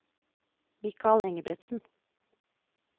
Mikal Engebretsen